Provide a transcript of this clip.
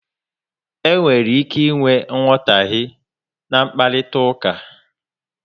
E nwere ike ịnwe nghotahe n'mkparitauka